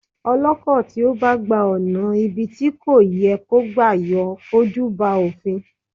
Ọlọ́kọ̀ tí ó bá gba ọ̀nà ibi tí kò yẹ kó gbà yóò fojú ba òfin.